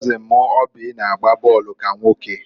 kọzin m Oby na-agba bọọlụ ka nwoke.